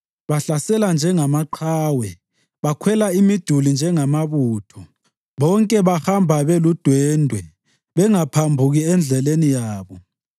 Bahlasela njengamaqhawe; bakhwele imiduli njengamabutho. Bonke bahamba beludwendwe bengaphambuki endleleni yabo.